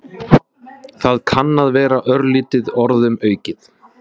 Það kann að vera örlítið orðum aukið.